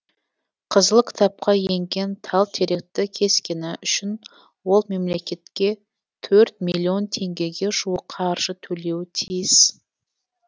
қызыл кітапқа енген тал теректі кескені үшін ол мемлекетке төрт миллион теңгеге жуық қаржы төлеуі тиіс